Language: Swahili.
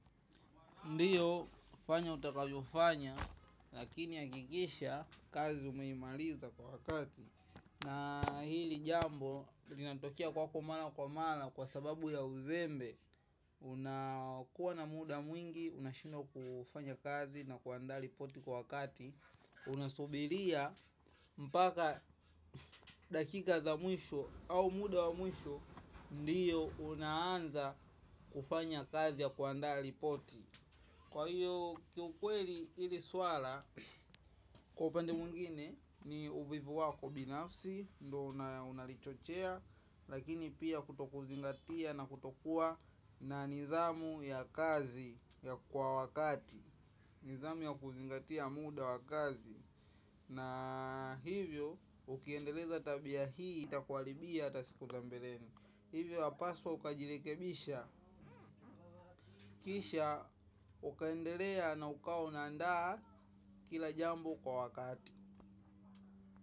Ndiyo fanya utakavyofanya lakini hakikisha kazi umeimaliza kwa wakati. Na hili jambo linatokea kwako mara kwa mara kwa sababu ya uzembe. Unakuwa na muda mwingi unashindwa kufanya kazi na kuandaa ripoti kwa wakati. Unasubiria mpaka dakika za mwisho au muda wa mwisho. Ndiyo unaanza kufanya kazi ya kuandaa ripoti. Kwa hiyo kiukweli hili swala, kwa upande mwingine ni uvivu wako binafsi, ndio unalichochea. Lakini pia kutokuzingatia na kutokuwa na nidhamu ya kazi ya kwa wakati. Nidhamu ya kuzingatia muda wa kazi. Na hivyo ukiendeleza tabia hii, itakuaribia hata siku za mbeleni. Hivyo wapaswa ukajirekebisha kisha ukaendelea na ukawa unaandaa kila jambo kwa wakati.